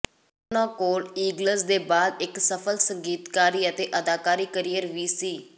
ਉਨਾਂ ਕੋਲ ਈਗਲਜ਼ ਦੇ ਬਾਅਦ ਇੱਕ ਸਫਲ ਸੰਗੀਤਿਕ ਅਤੇ ਅਦਾਕਾਰੀ ਕਰੀਅਰ ਵੀ ਸੀ